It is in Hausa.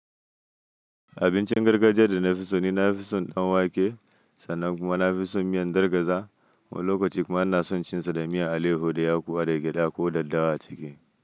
Abincin gargajiya da na fi so ni na fi son ɗan wake sannan kuma na fi son miyan gargaza. Wani lokaci kuma ina son cin sa da miyan alaihu da yaƙuwa da gyada ko daddawa a ciki.